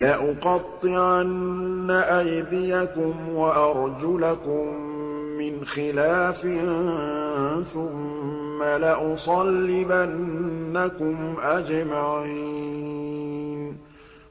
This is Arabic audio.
لَأُقَطِّعَنَّ أَيْدِيَكُمْ وَأَرْجُلَكُم مِّنْ خِلَافٍ ثُمَّ لَأُصَلِّبَنَّكُمْ أَجْمَعِينَ